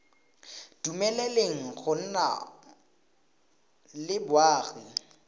dumeleleng go nna le boagi